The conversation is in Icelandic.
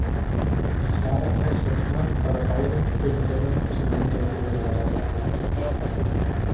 Ég svara þess vegna bara báðum spurningunum sem um gæti verið að ræða.